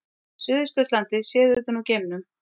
Suðurskautslandið séð utan úr geimnum.